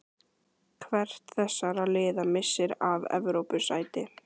Hvert þessara liða missir af Evrópusæti?